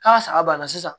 K'a saga banna sisan